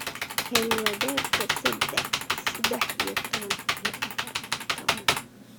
hel wadarta saddex iyo toban iyo afar iyo toban